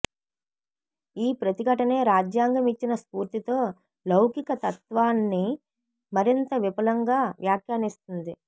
ఈ ప్రతిఘటనే రాజ్యాంగం ఇచ్చిన స్ఫూర్తితో లౌకికతత్వాన్ని మరింత విపులంగా వ్యాఖ్యానిస్తోంది